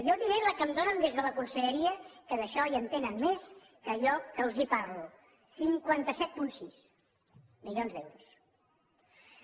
jo diré la que em donen des de la conselleria que en això hi entenen més que jo que els parlo cinquanta set coma sis milions d’euros